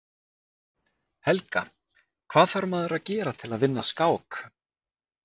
Helga: Hvað þarf maður að gera til að vinna skák?